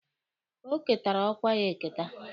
O ketara ọkwa ya eketa.